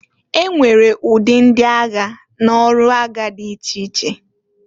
E nwere ụdị ndị agha n'ọrụ agha dị iche iche.